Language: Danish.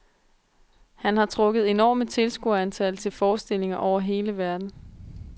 Han har trukket enorme tilskuerantal til forestillinger over hele verden.